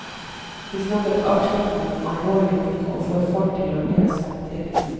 De snakker avslappet om alvorlige ting, og får folk til å le samtidig.